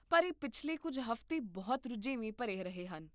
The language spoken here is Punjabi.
ਪਰ ਇਹ ਪਿਛਲੇ ਕੁੱਝ ਹਫ਼ਤੇ ਬਹੁਤ ਰੁਝੇਵੇਂ ਭਰੇ ਰਹੇ ਹਨ